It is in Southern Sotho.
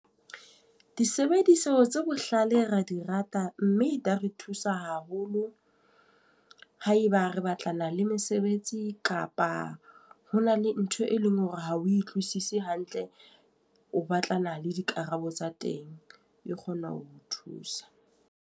Disebediso tse bohlale ra di rata mme di re thusa haholo, haeba re batlana le mesebetsi kapa hona le ntho e leng hore ha o utlwisise hantle, o batlana le dikarabo tsa teng. E kgona ho thusa.